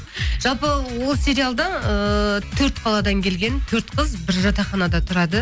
жалпы ол сериалда ыыы төрт қаладан келген төрт қыз бір жатақханада тұрады